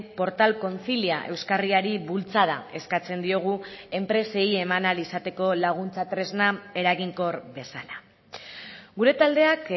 portal concilia euskarriari bultzada eskatzen diogu enpresei eman ahal izateko laguntza tresna eraginkor bezala gure taldeak